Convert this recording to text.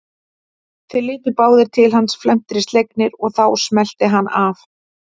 Þeir litu báðir til hans felmtri slegnir og þá smellti hann af.